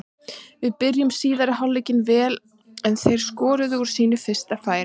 Við byrjuðum síðari hálfleikinn vel en þeir skoruðu úr sínu fyrsta færi.